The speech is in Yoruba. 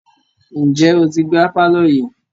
Ǹjẹ́ o ti gbá pàlọ́ yìí?